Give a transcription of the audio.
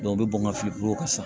u bɛ bɔn ka fili bolo kan sisan